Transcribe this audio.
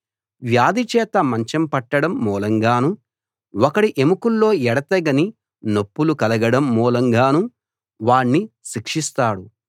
వ్యాధిచేత మంచం పట్టడం మూలంగానూ ఒకడి ఎముకల్లో ఎడతెగని నొప్పులు కలగడం మూలంగానూ వాణ్ణి శిక్షిస్తాడు